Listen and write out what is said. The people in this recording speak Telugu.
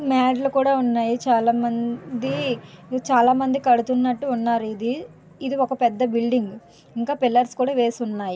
మేడ్లు కూడా ఉన్నాయి చాలామంది కడుతున్నట్టు ఉన్నారు ఇది ఒక పెద్ద బిల్డింగ్ ఇంకా పిల్లర్స్ కూడా వేసి ఉన్నాయి.